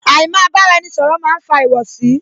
Àì má bára ẹni ṣọ̀rọ̀ máa ń fa ìwọ̀sí